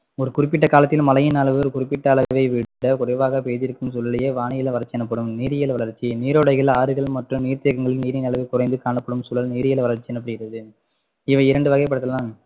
ஒரு குறிப்பிட்ட காலத்தில் மழையின்அளவு ஒரு குறிப்பிட்ட அளவை விட குறைவாக பெய்திருக்கும் சூழ்நிலையே வானிலை வறட்சி எனப்படும் நீரியல் வறட்சி நீரோடைகள் ஆறுகள் மற்றும் நீர்தேக்கங்களில் நீரின் அளவு குறைந்து காணப்படும் சூழல் நீரியல் வறட்சி எனப்படுகிறது இவை இரண்டு வகைப்படுத்தலாம்